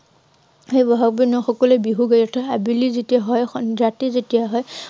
সেয়ে বহাগ বিহুতে নহয়, সকলোৱে বিহু সকলোৱে আবেলি যেতিয়া হয়, উম ৰাতি যেতিয়া হয়